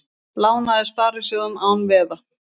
Lánaði sparisjóðum án veða